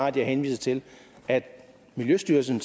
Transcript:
at jeg henviste til at miljøstyrelsen